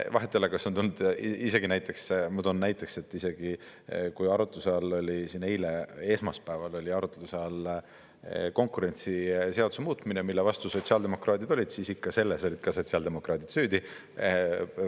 Vahet ei ole, isegi näiteks, ma toon näiteks, et isegi kui arutluse all oli siin eile, esmaspäeval oli arutluse all konkurentsiseaduse muutmine, mille vastu sotsiaaldemokraadid olid, siis selles olid ka ikka sotsiaaldemokraadid süüdi.